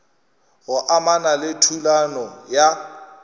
go amana le thulano ya